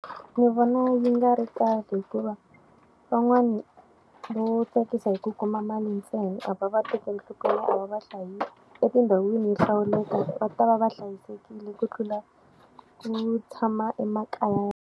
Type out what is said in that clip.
Ni vona yi nga ri kahle hikuva, van'wana va wo tsakisa hi ku kuma mali ntsena, a va va tekeli nhlokweni, a va va hlayisi. Etindhawini yo hlawuleka va ta va va hlayisekile ku tlula ku tshama emakaya ya.